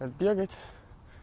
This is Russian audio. так бегать